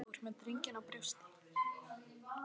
Þú ert með drenginn á brjósti.